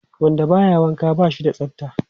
Wanda ba ya wanka ba shi da tsafta.